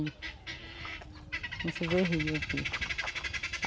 Não se vê rio aqui.